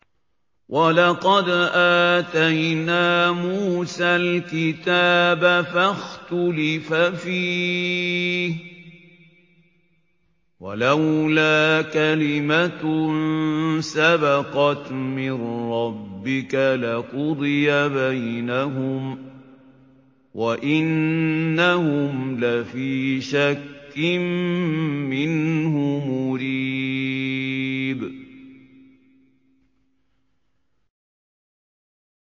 وَلَقَدْ آتَيْنَا مُوسَى الْكِتَابَ فَاخْتُلِفَ فِيهِ ۚ وَلَوْلَا كَلِمَةٌ سَبَقَتْ مِن رَّبِّكَ لَقُضِيَ بَيْنَهُمْ ۚ وَإِنَّهُمْ لَفِي شَكٍّ مِّنْهُ مُرِيبٍ